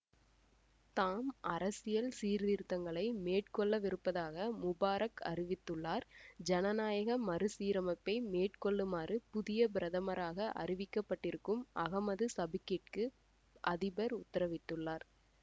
தாம் அரசியல் சீர்திருத்தங்களை மேற்கொள்ளவிருப்பதாக முபாரக் அறிவித்துள்ளார் சனநாயக மறுசீரமைப்பை மேற்கொள்ளுமாறு புதிய பிரதமராக அறிவிக்கப்பட்டிருக்கும் அகமது சபிக்கிற்கு அதிபர் உத்தரவிட்டுள்ளர்